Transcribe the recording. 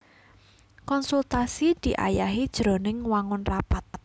Konsultasi diayahi jroning wangun rapat